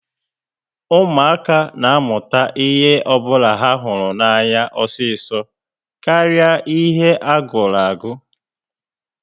Ụmụaka ná amụta ihe ọbula ha hụrụ anya osiso karịa ihe a gụrụ agu